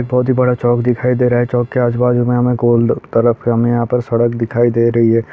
बहुत ही बड़ा चौक दिखाई दे रहा है चौक के आजू-बाजू में हमे गोल-- तरफ हमे यहां पे सड़क दिखाई दे रही है।